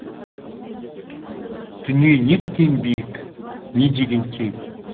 дүние неткен биік не деген кең